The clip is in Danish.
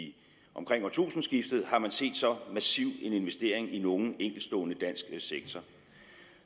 omkring årtusindskiftet har man set så massiv en investering i nogen enkeltstående dansk sektor